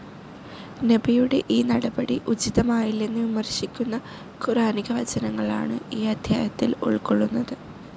നബിയുടെ ഈ നടപടി ഉചിതമായില്ലെന്ന് വിമർശിക്കുന്ന ഖുർ‌ആനിക വചനങ്ങളാണ് ഈ അദ്ധ്യായത്തിൽ ഉൾക്കൊള്ളുന്നത്.